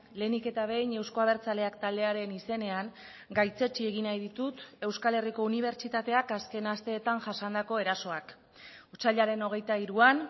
lehenik eta behin euzko abertzaleak taldearen izenean gaitzetsi egin nahi ditut euskal herriko unibertsitateak azken asteetan jasandako erasoak otsailaren hogeita hiruan